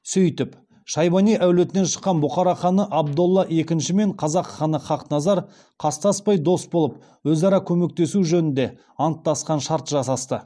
сөйтіп шайбани әулетінен шыққан бұхара ханы абдолла екіншімен қазақ ханы хақназар қастаспай дос болып өзара көмектесу жөнінде анттастық шарт жасасты